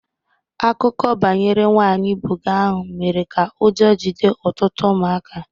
Akụkọ banyere nwanyị bogey ahụ mere ka ụjọ jide ọtụtụ ụmụaka